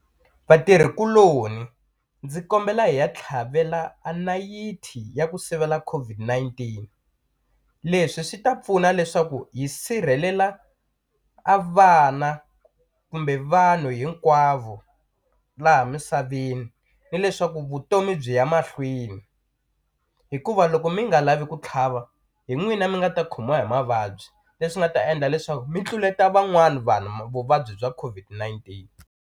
Vatirhi kuloni ndzi kombela hi ya tlhavela a nayiti ya ku sivela COVID-19 leswi swi ta pfuna leswaku hi sirhelela a vana kumbe vanhu hinkwavo laha misaveni ni leswaku vutomi byi ya mahlweni hikuva loko mi nga lavi ku tlhava hi n'wina mi nga ta khomiwa hi mavabyi leswi nga ta endla leswaku mi tluleta van'wani vanhu vuvabyi bya COVID-19.